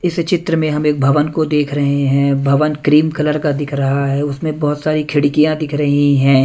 इस चित्र में हम एक भवन को देख रहें हैं भवन क्रीम कलर का दिख रहा हैं उसमें बहोत सारी खिड़कियाँ दिख रहीं हैं।